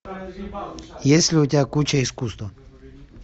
есть ли у тебя куча искусства